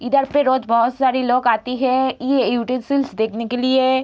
इधर पे रोज़ बहोत सारे लोग आती है ये यूटेंसिल्स देखने के लिए।